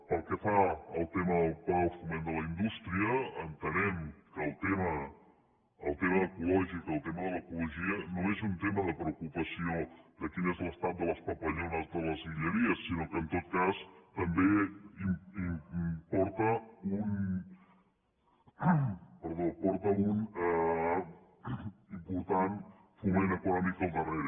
pel que fa al tema del pla del foment de la indústria entenem que el tema ecològic el tema de l’ecologia no és un tema de preocupació de quin és l’estat de les papallones de les guilleries sinó que en tot cas també porta un important foment econòmic al darrere